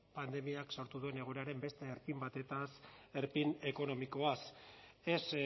pandemiak sortu duen egoeraren beste erpin batetaz erpin ekonomikoaz ez